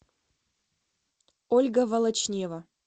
ольга волочнева